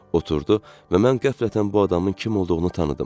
Oturdü və mən qəflətən bu adamın kim olduğunu tanıdım.